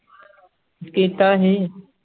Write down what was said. ਕੀਤਾ ਸੀ